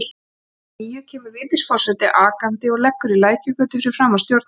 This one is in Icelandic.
Um klukkan níu kemur Vigdís forseti akandi og leggur í Lækjargötu fyrir framan Stjórnarráðið.